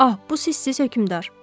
Ah, bu sissiz hökmdar.